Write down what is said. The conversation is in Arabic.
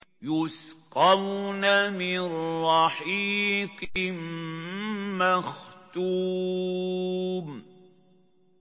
يُسْقَوْنَ مِن رَّحِيقٍ مَّخْتُومٍ